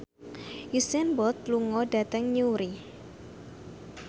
Usain Bolt lunga dhateng Newry